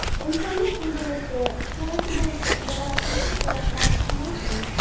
Insonni kuldiruvchi, kerak bo‘lsa, yig‘latuvchi suratlar talaygina.